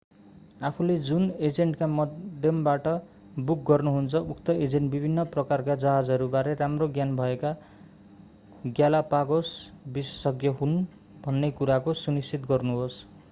आफूले जुन एजेन्टका माध्यमबाट बुक गर्नुहुन्छ उक्त एजेन्ट विभिन्न प्रकारका जहाजहरूबारे राम्रो ज्ञान भएका ग्यालापागोस विशेषज्ञ हुन् भन्ने कुराको सुनिश्चित गर्नुहोस्